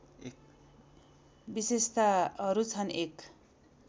विशेताहरू छन् १